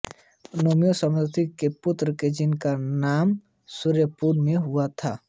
नेमि समुद्रविजय के पुत्र थे जिनका जन्म सूर्यपुर में हुआ था